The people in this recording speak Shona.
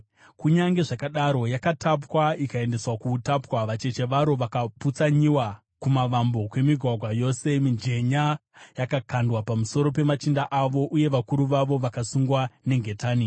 Kunyange zvakadaro yakatapwa ikaendeswa kuutapwa. Vacheche varo vakaputsanyiwa kumavambo kwemigwagwa yose. Mijenya yakakandwa pamusoro pemachinda avo, uye vakuru vavo vakasungwa nengetani.